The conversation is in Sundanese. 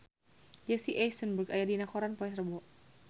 Jesse Eisenberg aya dina koran poe Rebo